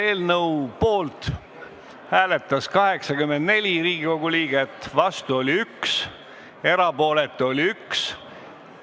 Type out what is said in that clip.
Hääletustulemused Poolt hääletas 84 Riigikogu liiget, vastu oli 1, erapooletuks jäi 1.